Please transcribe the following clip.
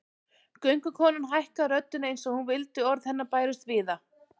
Göngukonan hækkaði röddina eins og hún vildi að orð hennar bærust víða